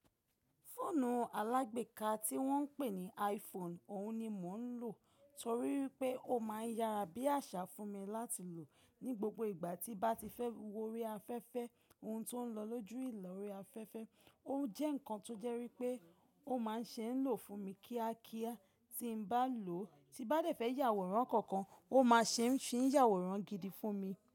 Fóònù alágbèéká tí wọ́n ń pè ní iPhone, òhun ni mò ń lò torí wipé ó máa ń yára bí àṣá fún mi láti lò ní gbogbo ìgbà tí bá ti fẹ́ wó ori afẹ́fẹ́, ohun tó ń lọ lójú ìlòrí afẹ́fẹ́, o jẹ́ ǹkan tó jẹ́ wipé ó máa ń ṣe é n lò fún mi kíá kíá tí ń bá lò ó, tí bá dé fẹ́ yàwòrán kankan, ó máa ṣe ń ṣì ń yàwòrán gidi fún mi.